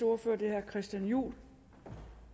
ordfører er herre christian juhl der